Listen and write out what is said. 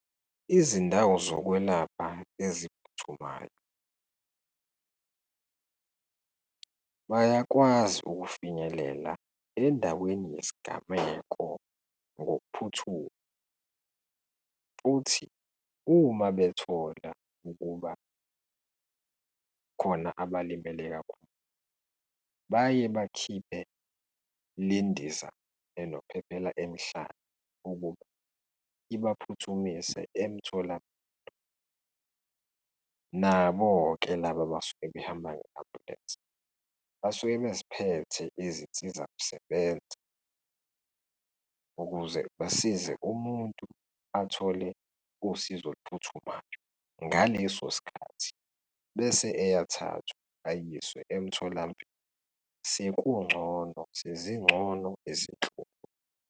Izindawo zokwelapha eziphuthumayo bayakwazi ukufinyelela endaweni yesigameko ngokuphuthuma, futhi uma bethola ukuba khona abalimele kakhulu baye bakhiphe le ndiza enophephelo emhlane ukuba ibaphuthumisa emtholampilo. Nabo-ke laba abasuke behamba nge-ambulensi basuke beziphethe izinsizakusebenza ukuze basize umuntu athole usizo oluphuthumayo ngaleso sikhathi bese eyathathwa ayiswe emtholampilo, sekungcono, sezingcono izinhlungu.